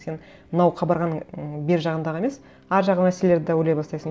сен мынау қабырғаның м бер жағындағы емес ар жағы мәселелерді де ойлай бастайсың